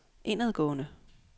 indadgående